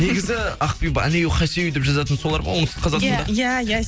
негізі ақбибі алею хасию деп жазатын солар ма оңтүстің қазақстанда иә иә